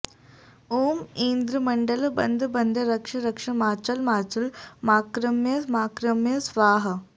ॐ ऐन्द्रमण्डलं बन्ध बन्ध रक्ष रक्ष माचल माचल माक्रम्य माक्रम्य स्वाहा